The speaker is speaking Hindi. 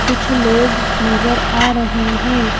कुछ लोग नजर आ रहे हैं।